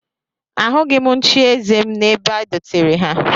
Ahụghị m nchieze m n'ebe e dotere ha